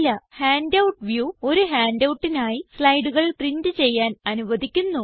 handout view ഒരു handoutനായി സ്ലൈഡുകൾ പ്രിന്റ് ചെയ്യാൻ അനുവധിക്കുന്നു